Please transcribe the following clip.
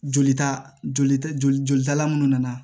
Jolita joli ta jolitala minnu nana